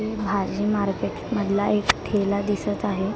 भाजी मार्केट मधला एक ठेला दिसत आहे.